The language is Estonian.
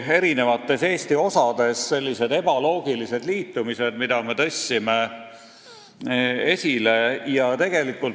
Pidades silmas Eesti osi, viitasime ebaloogilistele liitumistele.